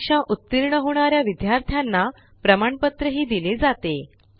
परीक्षा उतीर्ण होणा या विद्यार्थ्यांना प्रमाणपत्रही दिले जाते